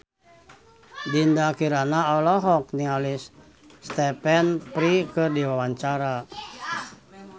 Dinda Kirana olohok ningali Stephen Fry keur diwawancara